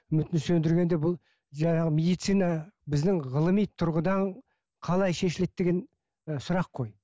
үмітін сөндіргенде бұл жаңағы медицина біздің ғылыми тұрғыдан қалай шешіледі деген ы сұрақ қой